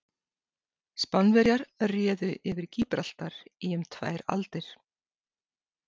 Spánverjar réðu yfir Gíbraltar í um tvær aldir.